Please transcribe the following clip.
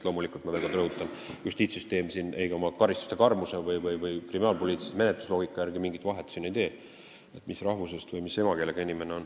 Justiitssüsteem selle põhjal, mis rahvusest või mis emakeelega inimene on, karistuse karmuse või kriminaalpoliitilise menetlusloogika järgi mingit vahet ei tee.